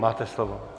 Máte slovo.